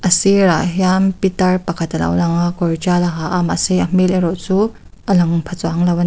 a sir ah hian pitar pakhat a lo langa kawr tial a ha a mahse a hmel erawh chu a lang pha chuanglo a ni.